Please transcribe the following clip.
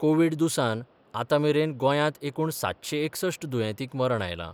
Covid दुयेंसान आतांमेरेन गोंयांत एकूण सातशें एकसश्ट दुर्येतींक मरण आयलां.